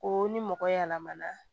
Ko ni mɔgɔ yɛlɛmana